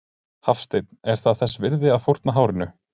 Hafsteinn: Er það þess virði þá að fórna hárinu?